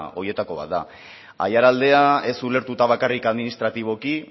horietako bat da aiaraldea ez ulertuta bakarrik administratiboki